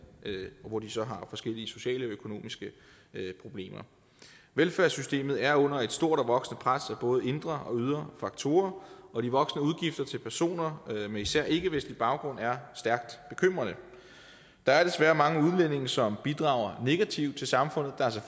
hvor de så har forskellige sociale og økonomiske problemer velfærdssystemet er under et stort og voksende pres både indre og ydre faktorer og de voksende udgifter til personer med især ikkevestlig baggrund er stærkt bekymrende der er desværre mange udlændinge som bidrager negativt til samfundet der er